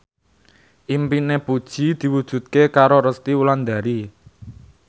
impine Puji diwujudke karo Resty Wulandari